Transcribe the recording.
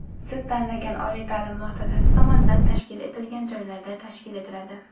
siz tanlagan oliy ta’lim muassasasi tomonidan tashkil etilgan joylarda tashkil etiladi.